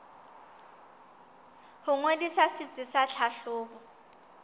ho ngodisa setsi sa tlhahlobo